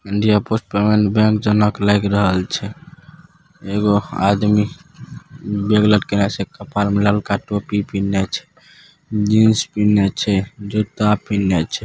India post bank जनक लाग रहल छे एगो आदमी बेग लटकीला छे कापार में लालका टोपी पेहनीले छे जिन्स पेहनीले छे जूता पेहनीले छे।